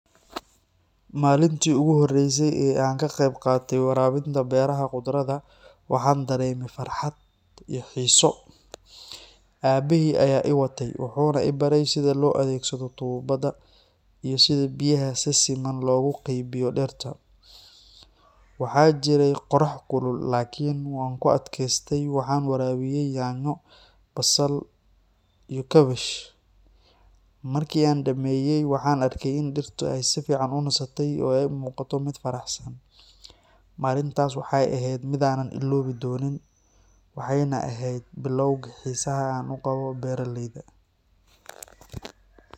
Maalintii ugu horreysay ee aan ka qeyb qaatay waraabinta beeraha khudradda, waxaan dareemay farxad iyo xiise. Aabbahay ayaa i watay, wuxuuna i baray sida loo adeegsado tuubada iyo sida biyaha si siman loogu qaybiyo dhirta. Waxaa jiray qorrax kulul, laakiin waan ku adkaystay. Waxaan waraabiyay yaanyo, basal iyo kaabash. Markii aan dhammeeyay, waxaan arkay in dhirtu ay si fiican u nasatay oo ay u muuqato mid faraxsan. Maalintaas waxay ahayd mid aanan illoobi doonin, waxayna ahayd bilowgii xiisaha aan u qabo beeraleyda.